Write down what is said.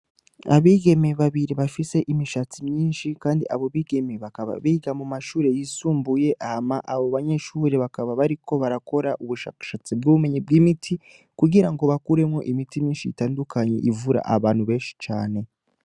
Abigeme babiri bafise imishatsi myinshi, kandi abo bigeme bakaba biga mu mashure yisumbuye ama abo banyeshure bakaba bariko barakora ubushakashatsi bw'ubumenye bw'imiti kugira ngo bakuremwo imiti minshi yitandukanye ivura abantu benshi cane.